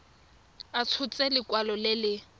a tshotse lekwalo le le